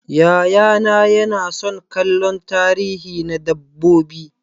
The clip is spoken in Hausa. Yayana yana son kallon tarihi na dabbobi.